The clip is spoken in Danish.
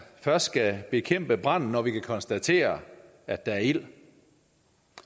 først skal bekæmpe branden når man kan konstatere at der er ild det